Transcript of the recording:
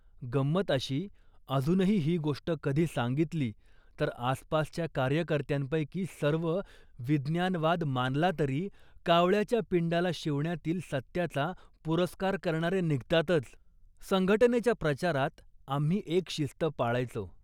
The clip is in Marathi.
" गंमत अशी अजूनही ही गोष्ट कधी सांगितली तर आसपासच्या कार्यकर्त्यांपैकी सर्व, विज्ञानवाद मानला तरी कावळ्याच्या पिंडाला शिवण्यातील सत्याचा पुरस्कार करणारे निघतातच. संघटनेच्या प्रचारात आम्ही एक शिस्त पाळायचो